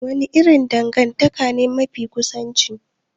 Wani irin dangantaka ne mafi kusanci?